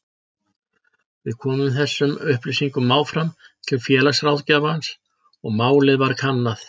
Við komum þessum upplýsingum áfram til félagsráðgjafans og málið var kannað.